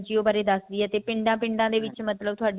ਬਾਰੇ ਦੱਸਦੀ ਹੈ ਤੇ ਪਿੰਡਾਂ ਪਿੰਡਾਂ ਦੇ ਵਿੱਚ ਮਤਲਬ